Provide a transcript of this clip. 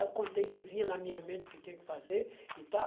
Eu contei que vinha na minha mente o que que eu tinha que fazer e tal.